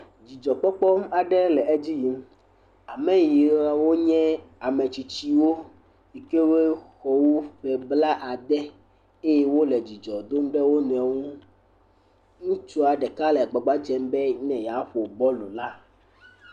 Dzidzɔkpɔkpɔ aɖe le edzi yim. Ame yawo nye ame tsitsiwpo yi ke woxɔ tso ƒe blade eye wole dzidzɔ dom ɖe wo nɔewo ŋu. Ŋutsu ɖeka le agbagba dzem be ne yeaƒo bɔlula